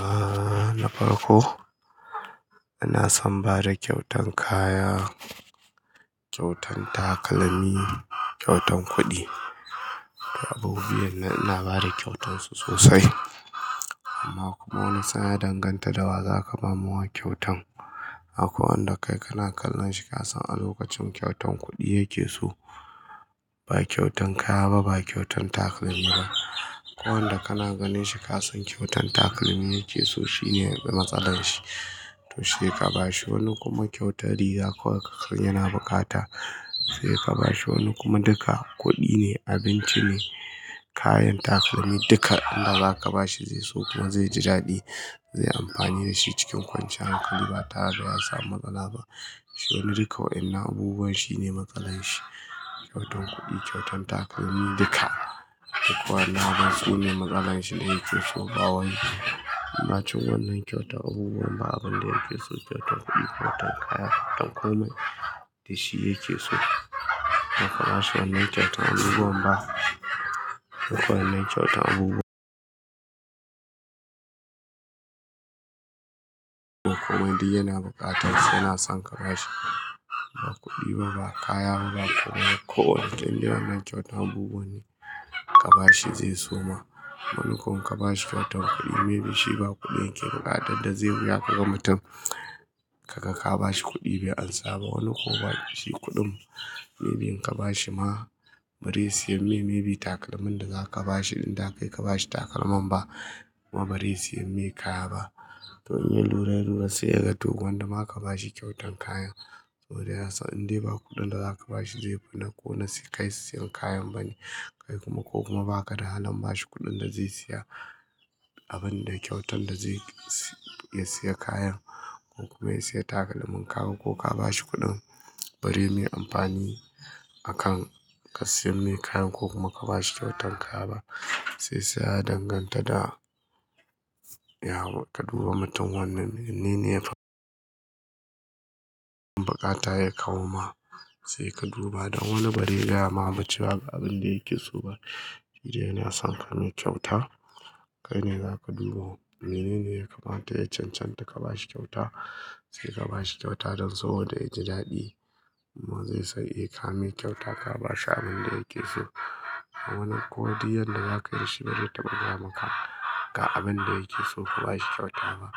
A na farko, ina son ba da kyautan kaya, kyautan takalmi, kyautan kuɗi. Abu biyar ɗina na ina ba da kyautarsu sosai. Amma kuma wani sa'in ya danganta da wa za ka ba mawa kyautan. Akwai wanda kai kana kallon shi ka san a lokacin kyautan kuɗi yake so. Ba kyautan kaya ba, ba kyautan takalmi ba. Akwai wanda kana ganin shi ka san kyautan takalmi yake so, shi ne matsalar shi. To sai ka ba shi. Wani kuma kyautar riga kawai yana bukata. Sai ka ba shi. Wani kuma duka kuɗi ne, abinci ne, kayan takalmi duka inda za ka ba shi zai so kuma zai ji daɗi, zai amfani da shi cikin kwanciyar hankali ba tare da ya samu matsala ba. Shi wani duka wa'in nan abubuwan shi ne matsalan shi. Kyautan kuɗi, kyautan takalmi duka. Akwai wanda basu ne matsalan shi, da yake so ga wani. Amma cikin wannan kyautan abubuwan ba abin da yake so kyautan kuɗi kyautan kaya ko kuma shi yake so. In kabashi wannan kyautan abubuwan ba. Duka wannan kyautan abubuwa. Ko kuma duk yana bukatansu yana son ka ba shi. Ba kuɗi ba, ba kaya ba, ba ko wane. Indai wannan kyautan abubuwa ne ka ba shi zai soma. Wani ko in kabashi kyautan kuɗi maybe shi ba kuɗin yake buƙata, da zai biya kuma mutum. Kaga ka ba shi kuɗi bai amsa ba. Wani kuma ba shi kuɗin maybe in ka ba shi ma bazai siyan mai maybe takalmin da za ka ba shi. In da kai ka ba shi takalman ba kuma bazai siyan mai kaya ba. To in ya lura, lura sai ya ga to gwanda ma ka ba shi kyautan kayan. Sabodai yasan indai ba kuɗin da za ka ba shi zai fi na ko na sai kai su siyan kayan bane. Kai kuma ko kuma ba ka da halin ba shi kuɗin da zai siya abin da kyautan da zai siya kayan ko kuma ya siya takalmin kaga ko ka ba shi kuɗin bazai mai amfani akan ka sayan mai kayan ko kuma ka ba shi kyautan kaya ba. Shiyasa ya danganta da ya ka duba mutum wannan wannene. Buƙata ya kawo ma sai ka duba da wani bazai gayama cewa ga abinda yake so ba. Yana son ka mai kyauta. Kai ne za ka duba. Menene ya kamata ya cancanta ka ba shi kyauta. Sai ka ba shi kyauta don saboda ya ji daɗi. Amma zai san eh ka mai kyauta ka ba shi abin da yake so. Wani kuma duk yanda za ka yi da shi bazai taɓa gayamaka ga abin da yake so ka ba shi kyauta ba.